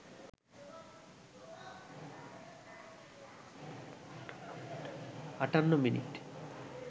৫৮ মিনিটে